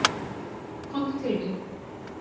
Komdu til mín.